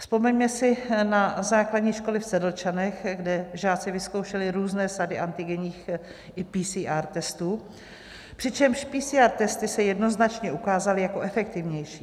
Vzpomeňme si na základní školy v Sedlčanech, kde žáci vyzkoušeli různé sady antigenních i PCR testů, přičemž PCR testy se jednoznačně ukázaly jako efektivnější.